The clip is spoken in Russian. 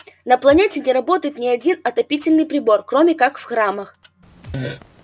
на планете не работает ни один отопительный прибор кроме как в храмах